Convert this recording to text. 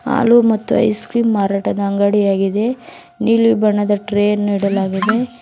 ಹಾಲು ಮತ್ತು ice cream ಮಾರಾಟದ ಅಂಗಡಿ ಆಗಿದೆ ನೀಲಿ ಬಣ್ಣದ ಟ್ರೆ ಅನ್ನು ಇಡಲಾಗಿದೆ.